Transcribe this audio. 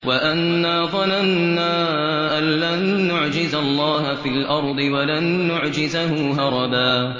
وَأَنَّا ظَنَنَّا أَن لَّن نُّعْجِزَ اللَّهَ فِي الْأَرْضِ وَلَن نُّعْجِزَهُ هَرَبًا